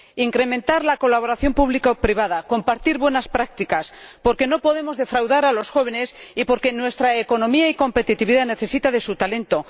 incrementar la colaboración pública o privada compartir buenas prácticas, porque no podemos defraudar a los jóvenes y porque nuestra economía y competitividad necesitan su talento.